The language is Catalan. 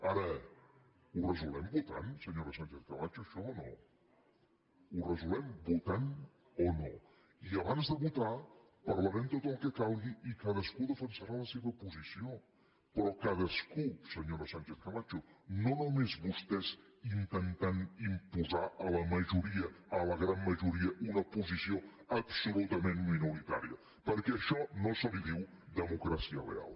ara ho resolem votant senyora sánchez camacho això o no ho resolem votant o no i abans de votar parlarem tot el que calgui i cadascú defensarà la seva posició però cadascú senyora sánchez camacho no només vostès intentant imposar a la majoria a la gran majoria una posició absolutament minoritària perquè a això no se li diu democràcia real